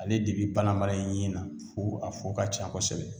Ale de be balan balan i yin na fo a fu ka ca kosɛbɛ